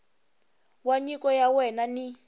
wa nyiko ya wena ni